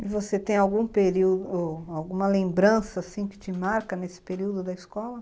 E você tem algum período, alguma lembrança que te marca nesse período da escola?